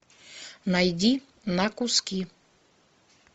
найди на куски